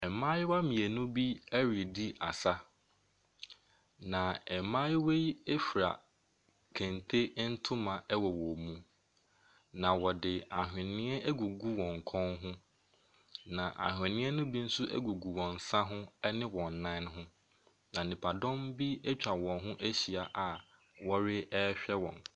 Mmayewa mmienu bi redi asa, na mmayewa yi fira kente ntoma wɔ wɔn mu, na wɔde ahwenneɛ agugu wɔn kɔn ho, na ahwenneɛ no bi nso gugu wɔn nsa ho ne wɔn nan ho, na nnipadɔm bi atwa wɔn ho ahyia a wɔrehwɛ wɔn.